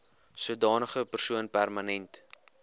sodanige persoon permanent